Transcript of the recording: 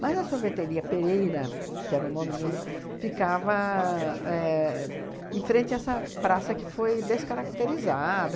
Mas a sorveteria Pereira, que era o nome mesmo, ficava éh em frente a essa praça que foi descaracterizada.